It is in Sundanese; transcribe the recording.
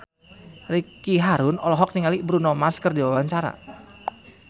Ricky Harun olohok ningali Bruno Mars keur diwawancara